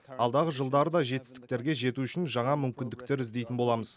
алдағы жылдары да жетістіктерге жету үшін жаңа мүмкіндіктер іздейтін боламыз